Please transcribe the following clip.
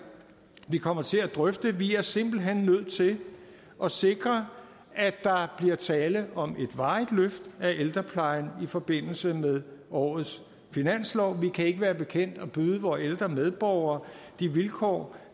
vi kommer til at drøfte vi er simpelt hen nødt til at sikre at der bliver tale om et varigt løft af ældreplejen i forbindelse med årets finanslov vi kan ikke være bekendt at byde vore ældre medborgere de vilkår